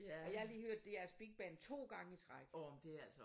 Og jeg har lige hørt DR's Big Band 2 gange i træk